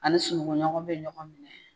An sunugunɔgɔ bɛ ɲɔgɔn minɛ,